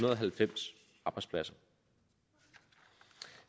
og halvfems arbejdspladser